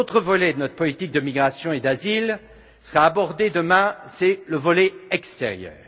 Un autre volet de notre politique de migration et d'asile sera abordé demain c'est le volet extérieur.